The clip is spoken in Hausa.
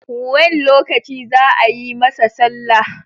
When lokaci zaa yi masa sallah?